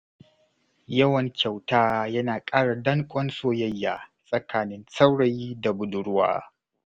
Yawan kyauta yana ƙara danƙon soyayya tsakanin saurayi da budurwa.